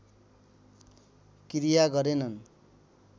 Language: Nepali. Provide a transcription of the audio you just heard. किरिया गरेनन्